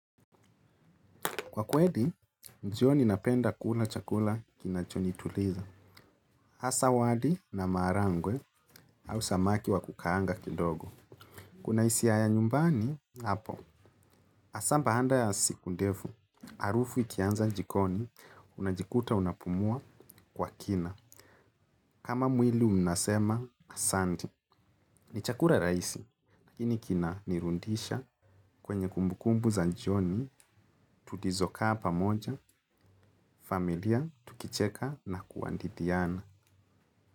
Kwa kweli, jioni napenda kula chakula kinachonituliza. Hasa wali na maharagwe au samaki wa kukaanga kidogo. Kuna hisia ya nyumbani, hapo. Hasa baada ya siku ndefu, harufu ikianza jikoni, unajikuta unapumua kwa kina. Kama mwili unasema, asante. Ni chakula rahisi, lakini kinanirudisha kwenye kumbukumbu za jioni, tulizokaa pamoja, familia, tukicheka na kuhadithiana.